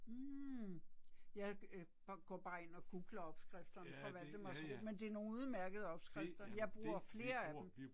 Mh jeg øh går bare ind og googler opskrifterne fra Valdemarsro men det er nogle udemærkede opskrifter jeg bruger flere af dem